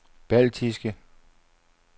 baltiske